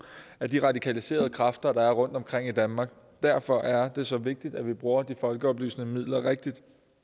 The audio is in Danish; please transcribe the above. af de radikaliserede kræfter der er rundtomkring i danmark derfor er det så vigtigt at vi bruger de folkeoplysende midler rigtigt